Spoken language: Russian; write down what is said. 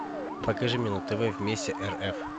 покажи мне на тв вместе рф